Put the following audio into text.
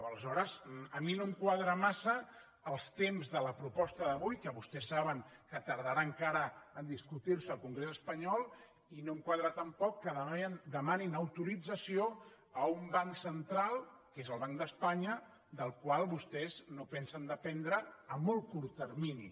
aleshores a mi no em quadren massa els temps de la proposta d’avui que vostès saben que tardarà encara a discutir se al congrés espanyol i no em quadra tampoc que demanin autorització a un banc central que és el banc d’espanya del qual vostès no pensen dependre a molt curt termini